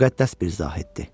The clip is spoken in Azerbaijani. Müqəddəs bir zahiddir.